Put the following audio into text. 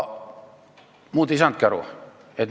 Muud ei saanudki aru.